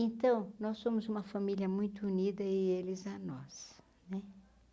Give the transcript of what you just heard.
Então, nós somos uma família muito unida e eles a nós né.